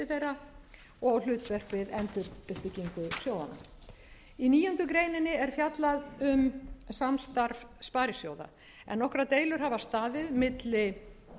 þeirra og hlutverk þeirra í endurreisn sjóðanna í níundu grein er fjallað um samstarf sparisjóða en nokkrar deilur hafa staðið milli